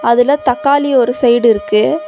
அதுல தக்காளி ஒரு சைடு இருக்கு.